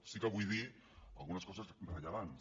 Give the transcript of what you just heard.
sí que vull dir algunes coses rellevants